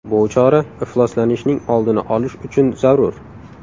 Bu chora ifloslanishning oldini olish uchun zarur.